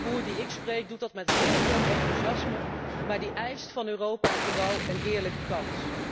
Elke jonge boer die ik spreek, doet dat met heel veel enthousiasme, maar die eist van Europa vooral een eerlijke kans.